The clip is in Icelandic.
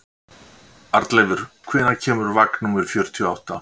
Arnleifur, hvenær kemur vagn númer fjörutíu og átta?